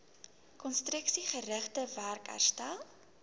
konstruksiegerigte werk herstel